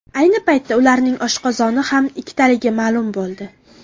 Ayni paytda ularning oshqozoni ham ikkitaligi ma’lum bo‘ldi.